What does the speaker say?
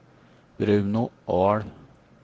Bruno Ahl